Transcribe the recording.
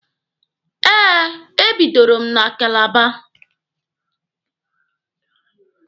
Eh, e bidoro m na Kalaba.